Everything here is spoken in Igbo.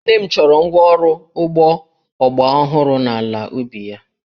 Nne m chọrọ ngwa ọrụ ugbo ọgbaraọhụrụ n'ala ubi ya